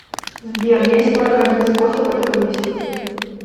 сбер есть только один способ это выяснить